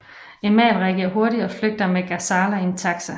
Emal reagerer hurtigt og flygter med Ghazala i en taxi